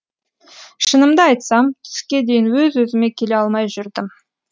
шынымды айтсам түске дейін өз өзіме келе алмай жүрдім